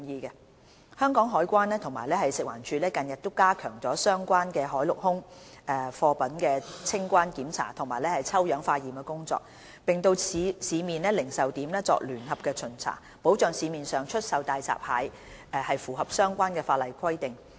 香港海關及食環署近日已加強相關海陸空貨物的清關檢查及抽樣化驗工作，並到市面零售點作聯合巡查，保障市面上出售的大閘蟹符合相關的法例規定。